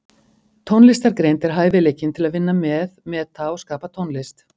Tónlistargreind er hæfileikinn til að vinna með, meta og skapa tónlist.